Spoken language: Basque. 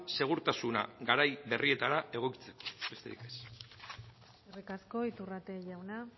segurtasuna garai berrietara egokitzeko besterik ez eskerrik asko iturrate jauna